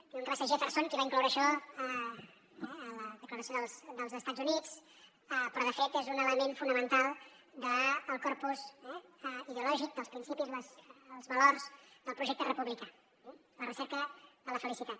diuen que va ser jefferson qui va incloure això a la declaració dels estats units però de fet és un element fonamental del corpus ideològic dels principis els valors del projecte republicà la recerca de la felicitat